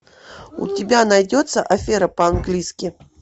у тебя найдется афера по английски